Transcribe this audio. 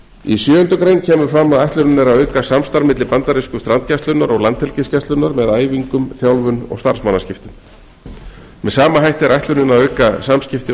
í sjöundu grein kemur fram að ætlunin er að auka samstarf milli bandarísku strandgæslunnar og landhelgisgæslunnar með æfingum þjálfun og starfsmannaskiptum með sama hætti er ætlunin að auka samskipti